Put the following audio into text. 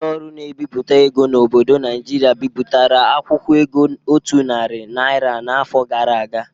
Ụlọ ọrụ na-ebipụta ego n'obodo Naijiria bịpụtara akwụkwọ ego otu nari naira n'afọ gara aga